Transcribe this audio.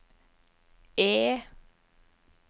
E